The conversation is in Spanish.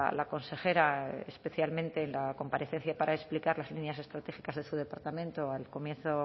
la consejera especialmente en la comparecencia para explicar las líneas estratégicas de su departamento al comienzo